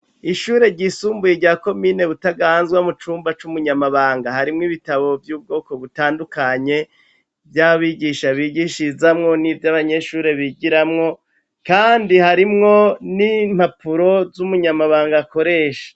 Ishure ryisumbuye rya komine Butaganzwa, mu cumba c'umunyamabanga, harimwo ibitabo vyo mu bwoko butandukanye vy'abigisha bigishirizamwo n'ivyo abanyeshure bigiramwo. Kandi harimwo n'impapuro z'umunyamabanga akoresha.